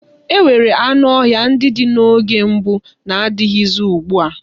E nwere anụ ọhịa ndị dị na mgbe gboo na-adịghịzi ugbua.